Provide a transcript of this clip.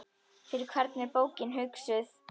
Fyrir hvern er bókin hugsuð?